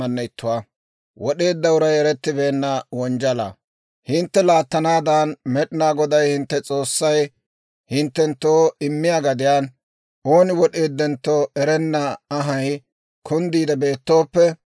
«Hintte laattanaadan Med'inaa Goday hintte S'oossay hinttenttoo immiyaa gadiyaan, ooni wod'eeddentto erenna anhay kunddiide beettooppe,